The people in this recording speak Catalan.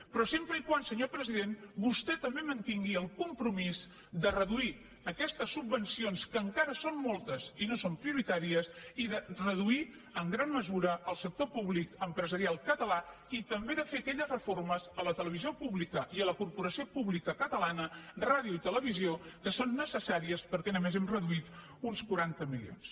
però sempre que senyor president vostè també mantingui el compromís de reduir aquestes subvencions que encara són moltes i no són prioritàries i de reduir en gran mesura el sector públic empresarial català i també de fer aquelles reformes a la televisió pública i a la corporació pública catalana ràdio i televisió que són necessàries perquè només hem reduït uns quaranta milions